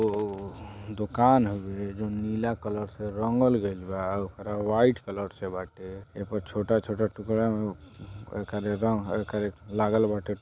ओ दुकान हॉवे जोवन नीला कलर से रंगल गइल बा। ऊपर वाइट कलर से बाटे। एगो छोटा छोटा टुकड़ा एकर येथी लगल बाटे।